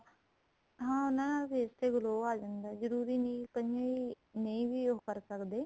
ਹਾਂ ਨਾ face ਤੇ glow ਆਂ ਜਾਂਦਾ ਜਰੂਰੀ ਨਹੀਂ ਕਈ ਨਹੀਂ ਵੀ ਉਹ ਕਰ ਸਕਦੇ